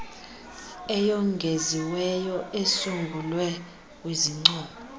eyongeziweyo esungulwe kwizincomo